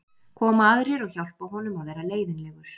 koma aðrir og hjálpa honum að vera leiðinlegur